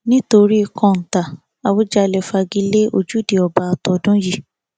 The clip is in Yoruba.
nítorí kóńtà àwùjalè fagi lé ojúde ọba tọdún yìí